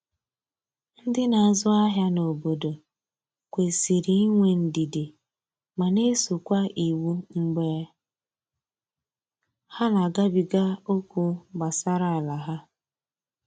Ndi n'azụ ahịa na obodo kwesịrị inwe ndidi ma na eso kwa iwu mgbe ha na agabiga okwu gbasara ala ha.